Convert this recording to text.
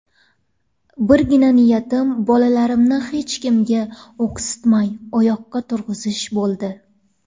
Birgina niyatim bolalarimni hech kimga o‘ksitmay, oyoqqa turg‘izish bo‘ldi.